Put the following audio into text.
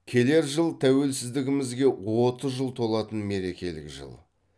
келер жыл тәуелсіздігімізге отыз жыл толатын мерекелік жыл